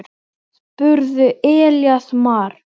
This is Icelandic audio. spurði Elías Mar.